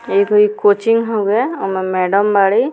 एगो इ कोचिंग हउवे ओमे मैडम बाड़ी।